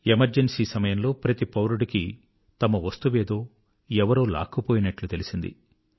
emergency సమయంలో ప్రతి పౌరుడికీ తమ వస్తువేదో ఎవరో లాక్కుపోయినట్లు తెలిసింది